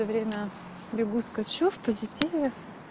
время бегу скачу в позитиве